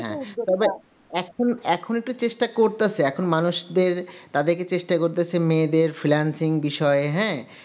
এখন এখন একটু চেষ্টা করতেছি এখন মানুষদের তাদেরকে চেষ্টা করতেছি মেয়েদের finalsingh বিষয়ে হ্যা